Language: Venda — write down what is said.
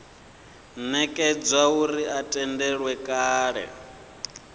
nekedzwa uri a tendelwe kale